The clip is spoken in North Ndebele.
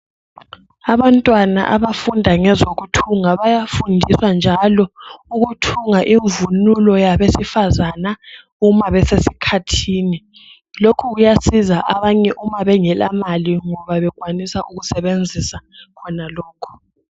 Abantwana abafunda ngezo kuthunga bayafundiswa njalo ukuthunanga imvunulo yabe sifazana umabase sikhathi lokho kuya siza abanye kuma bengela mali ngoba bekwanisa ukusebenzisa khono lokhu